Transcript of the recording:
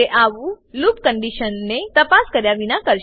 તે આવું લૂપ કંડીશનને તપાસ કર્યા વિના કરશે